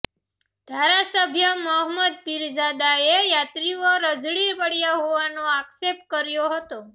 ધારાસભ્ય મહમદ પીરઝાદાએ યાત્રીઓ રઝળી પડયા હોવાનો આક્ષેપ કર્યો હતો